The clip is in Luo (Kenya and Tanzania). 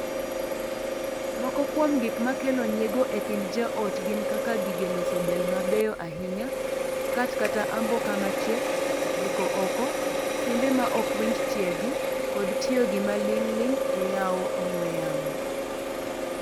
Moko kuom gik makelo nyiego e kind joot gin kaka gige loso del mabeyo ahinya, skat kata amboka machiek, deko oko, simbe ma ok winj tiegi, kod tiyo gi maling'ling e yawo ong'ue yamo.